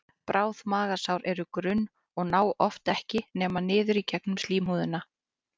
Bráð magasár eru grunn og ná oft ekki nema niður í gegnum slímhúðina.